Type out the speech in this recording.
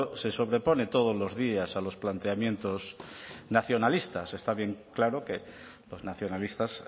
se sobrepone todos los días a los planteamientos nacionalistas está bien claro que los nacionalistas